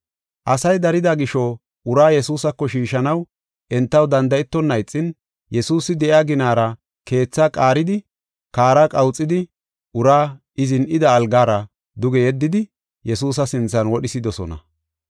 Asay darida gisho, uraa Yesuusako shiishanaw entaw danda7etonna ixin, Yesuusi de7iya ginara keetha qaaridi, kaara qawuxidi uraa I zin7ida algara duge yeddidi Yesuusa sinthan wodhisidosona.